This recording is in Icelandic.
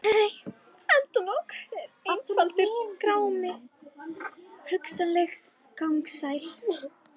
Nei endalok eru einfaldur grámi: hugsanlegt gagnsæi.